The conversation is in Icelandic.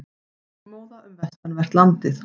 Þokumóða um vestanvert landið